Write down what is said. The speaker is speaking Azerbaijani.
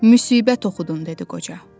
Müsibət oxudun dedi qoca.